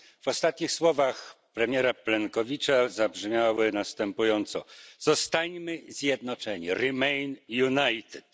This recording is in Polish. Ostatnie słowa premiera Plenkovicia zabrzmiały następująco zostańmy zjednoczeni remain united.